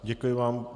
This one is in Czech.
Děkuji vám.